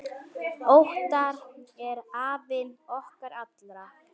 Óttar er afi okkar allra.